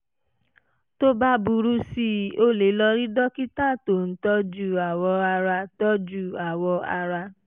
tó bá burú sí i o lè lọ rí dókítà tó ń tọ́jú awọ ara tọ́jú awọ ara